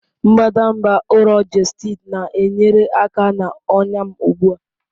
Mbadamba ụrọ Gestid na-enyere aka na ọnya m ugbu a.